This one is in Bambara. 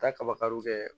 Taa kaba kariw kɛ